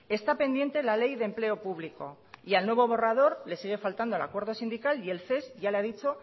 está pendiente la ley de empleo público y al nuevo borrador le sigue faltando el acuerdo sindical y el ces ya le ha dicho